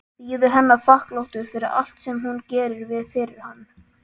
Bíður hennar þakklátur fyrir allt sem hún gerir fyrir hann.